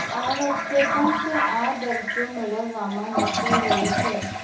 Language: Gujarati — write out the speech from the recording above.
આ વખતે પણ તે આ દરજ્જો મેળવવામાં નિષ્ફળ રહી છે